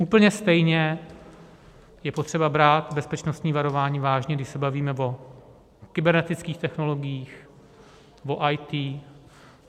Úplně stejně je potřeba brát bezpečnostní varování vážně, když se bavíme o kybernetických technologiích, o IT.